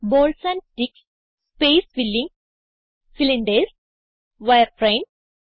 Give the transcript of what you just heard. balls and sticks space filling cylinders wireframe